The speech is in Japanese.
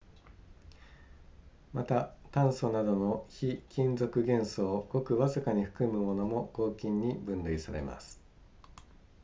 また炭素などの非金属元素をごくわずかに含むものも合金に分類されます